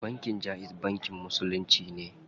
Banki jaiz bankin musulunci ne.